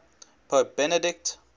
pope benedict